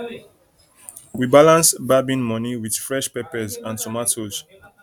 we balance barbing money with fresh peppers and tomatoes